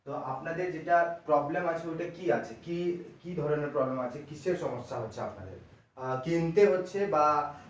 তো আপনাদের যেটা problem আছে ওইটা কি আছে ঠিক কি ধরণের problem আছে কীসের সমস্যা হচ্ছে আপনাদের আহ তিনটে হচ্ছে আহ